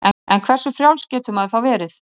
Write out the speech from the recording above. En hversu frjáls getur maður þá verið?